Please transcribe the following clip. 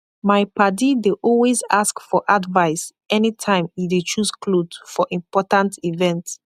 mai padi dey always ask for advise any time e dey choose kloth for important event